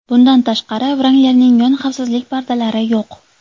Bundan tashqari, Wrangler’ning yon xavfsizlik pardalari yo‘q.